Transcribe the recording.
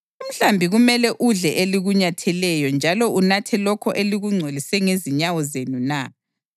Umhlambi kumele udle elikunyatheleyo njalo unathe lokho elikungcolise ngezinyawo zenu na?